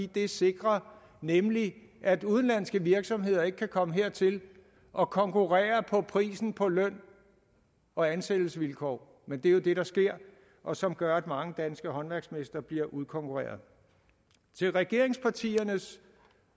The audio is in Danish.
det sikrer nemlig at udenlandske virksomheder ikke kan komme hertil og konkurrere på prisen på løn og ansættelsesvilkår men det er det der sker og som gør at mange danske håndværksmestre bliver udkonkurreret til regeringspartiernes